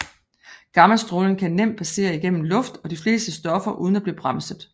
Gammastråling kan nemt passere igennem luft og de fleste stoffer uden at blive bremset